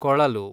ಕೊಳಲು